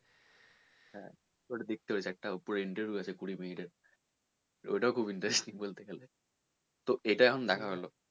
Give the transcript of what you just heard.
হ্যাঁ তুই ওটা দেখতে পারিস একটা ওপরে interview আছে কুড়ি minute এর তো ওটাও খুব interesting বলতে গেলে।